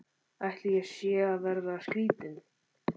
Ætli ég sé að verða skrýtin.